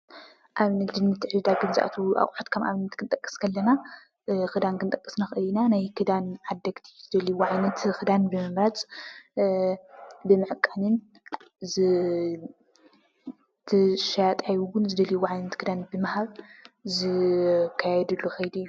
ኣብ ንግድን ምትዕድዳግን ዝአተዉ ኣቁሑታት ከም ኣብነት ክንጠቅስ ከለና፣ እ ኽዳን ክንጠቅስ ንኽእል ኢና። ናይ ከዳን ዓደግቲ ዝደልይዎ ዓይነት ኽዳን ብምምራፅ እ ብምዕቃንን ዝ ትሸያጣይ እዉን ዝደልዩዎ ዓይነት ኽዳን ብምሃብ ዝካየድሉ ኸይዲ እዩ፡፡